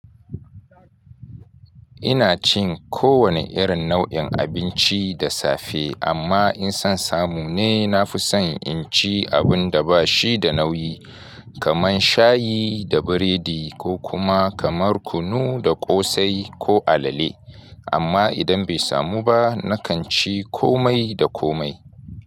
Ina cin kowane irin nau'in abinci da safe, amma in son samu ne na fi son in ci abun da ba shi da nauyi, kamar shayi da biredi ko kuma kamar kunu da ƙosai ko alale. Amma idan bai samu ba, na kan ci komai da komai.